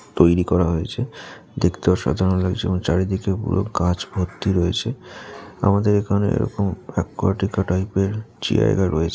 তৈরি করা হয়েছে। দেখতে অসাধারণ লাগছে এবং চারিদিকে পুরো কাঁচ ভর্তি রয়েছে । আমাদের এখানে এরকম অকূয়াটিকা টাইপের জায়গা রয়েছে ।